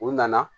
U nana